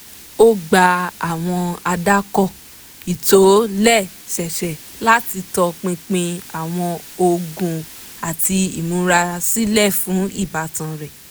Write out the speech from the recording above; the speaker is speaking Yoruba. ó gba àwọn àdàkọ ìtòlẹ́sẹẹsẹ láti tọ pinpin àwọn oògùn àti ìmúrasílẹ̀ fún ìbátan rẹ̀